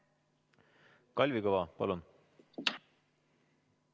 Kalvi Kõva, palun!